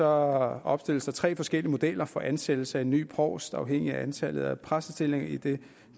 opstilles der tre forskellige modeller for ansættelse af en ny provst afhængig af antallet af præstestillinger i det